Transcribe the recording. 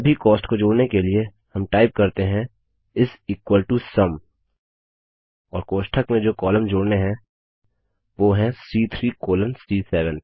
सभी कॉस्ट को जोड़ने के लिए हम टाइप करते हैं सुम और कोष्ठक में जो कॉलम जोड़ने हैं वो हैं सी3 कोलोन सी7